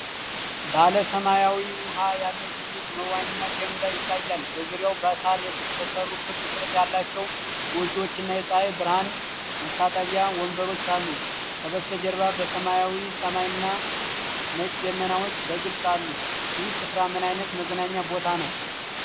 ባለ ሰማያዊ ውሃ ያለው ትልቅ መዋኛ ገንዳ ይታያል፤ በዙሪያው በሳር የተሰሩ ክብ ቅርጽ ያላቸው ጎጆዎችና የፀሐይ ብርሃን መታጠቢያ ወንበሮች አሉ፡፡ ከበስተጀርባ ሰማያዊ ሰማይና ነጭ ደመናዎች በግልጽ አሉ። ይህ ስፍራ ምን ዓይነት መዝናኛ ቦታ ነው?